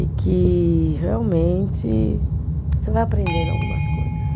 E que, realmente, você vai aprendendo algumas coisas.